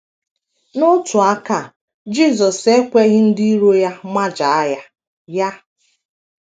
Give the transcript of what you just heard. N’otu aka, Jisọs ekweghị ndị iro ya majaa ya. ya.